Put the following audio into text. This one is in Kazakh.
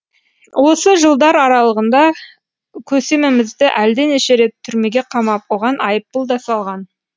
осы жылдар аралығында көсемімізді әлденеше рет түрмеге қамап оған айыппұл да салған